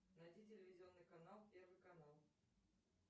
найди телевизионный канал первый канал